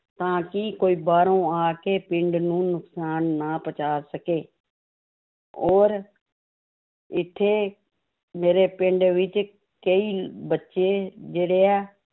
ਤਾਂ ਕਿ ਕੋਈ ਬਾਹਰੋਂ ਆ ਕੇ ਪਿੰਡ ਨੂੰ ਨੁਕਸਾਨ ਨਾ ਪਹੁੰਚਾ ਸਕੇ ਔਰ ਇੱਥੇ ਮੇਰੇ ਪਿੰਡ ਵਿੱਚ ਕਈ ਬੱਚੇ ਜਿਹੜੇ ਹੈ